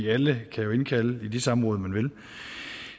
alle kan jo indkalde til de samråd man vil